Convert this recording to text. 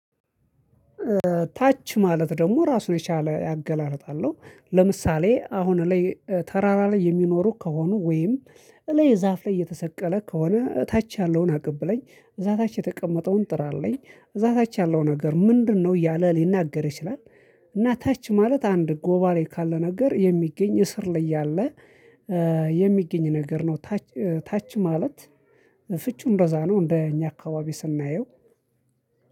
ታች ማለት ደግሞ ራሱን የቻለ ያገላለጥ አለሁ ለምሳሌ አሁን ላይ ተራራ ላይ የሚኖሩ ከሆኑ ወይም እላይ ዛፍ ላይ የተሰቀለ ከሆነ እታች ያለውን አቀብ ለኝ እዛ ታች የተቀመጠውን ጥራልኝ እዛ ታች ያለው ነገር ምንድነው? እያለ ሊናገር ይችላል እና ታች ማለት አንድ ጎባሬ ካለ ነገር የሚገኝ እስር ላይ ያለ የሚገኝ ነገር ነው ታች ታች ማለት ፍቹ እንደዛ ነው እንደኛ አካባቢ ስናየው